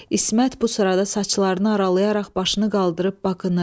İsmət bu sırada saçlarını aralayaraq başını qaldırıb baxınır.